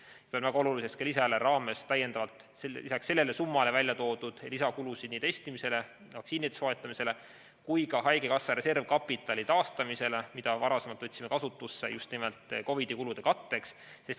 Ma pean väga oluliseks ka lisaeelarve raames lisaks sellele summale väljatoodud lisakulusid nii testimisele, vaktsiinide soetamisele kui ka haigekassa reservkapitali taastamisele, mida varasemalt võtsime kasutusse just nimelt COVID‑i kulude katteks.